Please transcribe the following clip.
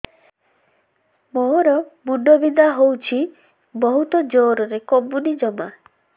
ମୋର ମୁଣ୍ଡ ବିନ୍ଧା ହଉଛି ବହୁତ ଜୋରରେ କମୁନି ଜମା